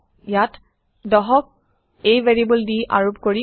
ইয়াত ১০ক a variable দি আৰোপ কৰিম